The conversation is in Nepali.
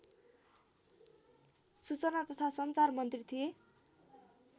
सूचना तथा सञ्चार मन्त्री थिए